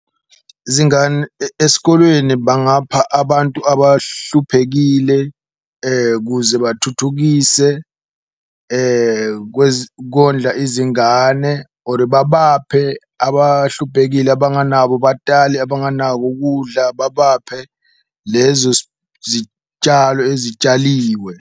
Esikolweni bangapha abantu abahluphekile kuze bathuthukise kondla izingane or babaphe abahluphekile abanganabo batali, abanganako kudla babaphe lezo zitshalo ezitshaliwe.